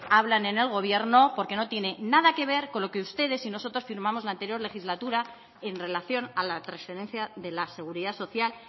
hablan en el gobierno porque no tiene nada que ver con lo que ustedes y nosotros firmamos la anterior legislatura en relación a la transferencia de la seguridad social